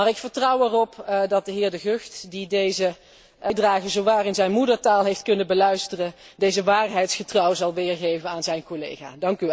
Maar ik vertrouw erop dat de heer De Gucht, die deze bijdrage zowaar in zijn moedertaal heeft kunnen beluisteren, deze waarheidsgetrouw zal weergeven aan zijn collega.